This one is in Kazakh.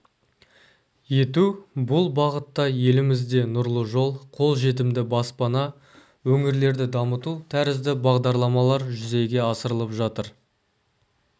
ету бұл бағытта елімізде нұрлы жол қолжетімді баспана өңірлерді дамыту тәрізді бағдарламалар жүзеге асырылып жатыр